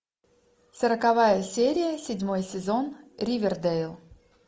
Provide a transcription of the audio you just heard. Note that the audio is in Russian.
сороковая серия седьмой сезон ривердейл